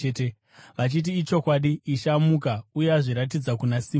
vachiti, “Ichokwadi! Ishe amuka uye azviratidza kuna Simoni.”